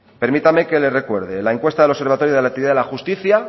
permítame que le recuerde la encuesta del observatorio de la actividad de la justicia